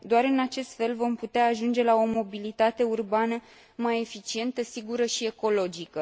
Doar în acest fel vom putea ajunge la o mobilitate urbană mai eficientă, sigură și ecologică.